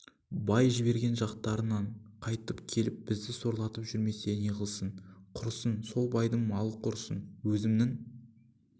бай жіберген жақтарыңнан қайтып келіп бізді сорлатып жүрмесе неғылсын құрысын сол байдың малы құрысын өзімнің